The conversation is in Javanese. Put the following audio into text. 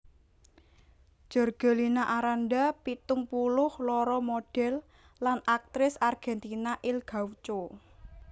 Jorgelina Aranda pitung puluh loro modèl lan aktris Argèntina Il Gaucho